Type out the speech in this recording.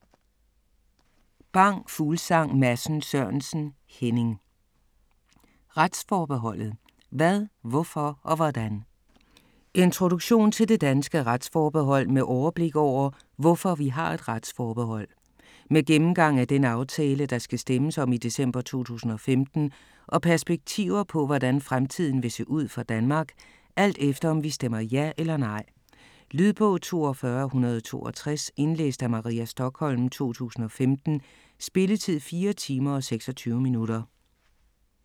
Bang Fuglsang Madsen Sørensen, Henning: Retsforbeholdet: hvad, hvorfor og hvordan? Introduktion til det danske retsforbehold med overblik over hvorfor vi har et retsforbehold. Med gennemgang af den aftale der skal stemmes om i december 2015 og perspektiver på hvordan fremtiden vil se ud for Danmark, alt efter om vi stemmer ja eller nej. Lydbog 42162 Indlæst af Maria Stokholm, 2015. Spilletid: 4 timer, 26 minutter.